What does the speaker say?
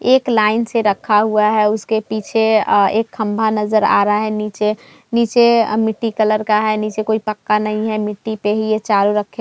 एक लाइन से रखा हुआ है उसके पीछे एक खम्बा नजर आ रहा है नीचे नीचे मिट्टी कलर का है नीचे कोइ पक्का नहीं है मिट्टी पे ही चारों रखे --